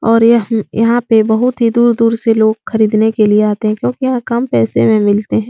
और यह यहाँ पे बहुत दूर-दूर से लोग खरीदने के लिए आते है क्योकि यहाँ कम पैसो में मिलते है।